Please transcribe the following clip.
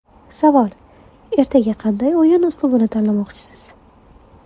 Savol: Ertaga qanday o‘yin uslubini tanlamoqchisiz?